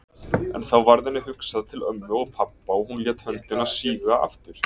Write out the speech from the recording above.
En þá varð henni hugsað til ömmu og pabba og hún lét höndina síga aftur.